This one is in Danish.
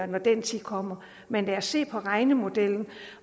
når den tid kommer men lad os se på regnemodellen